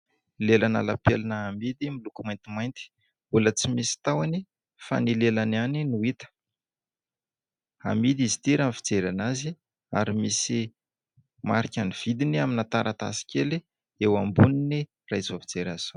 Lelan'ny lapelina amidy miloko maintimainty. Mbola tsy misy tahoany fa ny lelana ihany no hita. Amidy izy ity raha fijery an'azy ary misy marikin'ny vidiny amin'ny taratasy kely eo amboniny raha izao fijera azy izao.